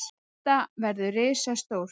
Þetta verður risastórt.